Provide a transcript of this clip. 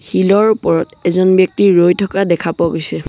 শিলৰ ওপৰত এজন ব্যক্তি ৰৈ থকা দেখা পোৱা গৈছে।